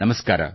ನಮಸ್ಕಾರ